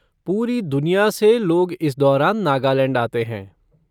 पूरी दुनिया से लोग इस दौरान नागालैंड आते हैं।